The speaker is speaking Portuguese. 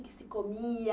O que se comia?